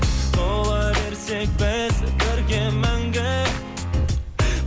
бола берсек біз бірге мәңгі